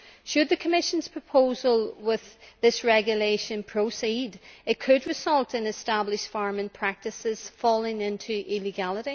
Should the Commission's proposal with this regulation proceed, it could result in established farming practices becoming illegal.